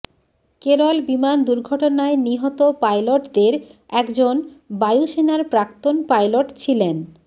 কেরল বিমান দুর্ঘটনায় নিহত পাইলটদের একজন বায়ুসেনার প্রাক্তন পাইলট ছিলেন